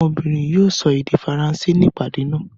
Ọmọbìnrin yìí yóò sọ èdè Faransé ní ìpàdé náà.